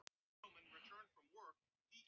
Átti hann að stökkva á eftir henni?